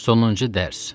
Sonuncu dərs.